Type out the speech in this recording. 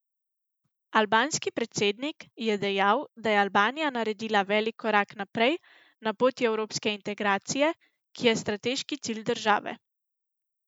Albanski predsednik je dejal, da je Albanija naredila velik korak naprej na poti evropske integracije, ki je strateški cilj države.